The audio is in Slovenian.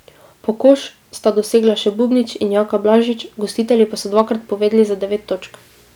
Po koš sta dosegla še Bubnič in Jaka Blažič, gostitelji pa so dvakrat povedli za devet točk.